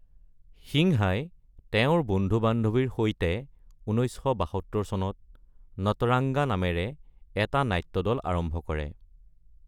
সিংহাই তেওঁৰ বন্ধু-বান্ধৱীৰ সৈতে ১৯৭২ চনত "নটৰাংগা" নামেৰে এটা নাট্যদল আৰম্ভ কৰে।